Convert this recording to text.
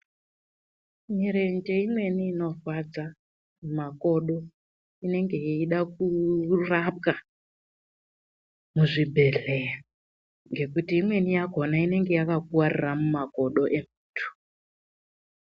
Mirenje imweni inorwadza makodo, inenge yeide kurapwa muzvibhehlera ngekuti imweni yakona inenge yakakuvarira mumakodo emuntu.